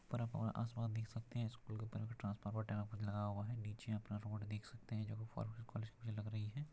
ऊपर आप आसमान देख सकते है स्कूल के ऊपर ट्रांसफार्मर पर लगा हुआ है नीचे अपना रोड देख सकते हैजो की कॉलेज के लिए लग रही है।